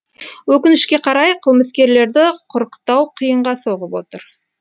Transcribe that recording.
өкінішке қарай қылмыскерлерді құрықтау қиынға соғып отыр